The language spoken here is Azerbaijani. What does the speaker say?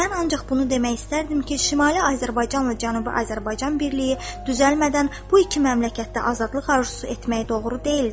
Mən ancaq bunu demək istərdim ki, Şimali Azərbaycanla Cənubi Azərbaycan birliyi düzəlmədən bu iki məmləkətdə azadlıq arzusu etmək doğru deyildir.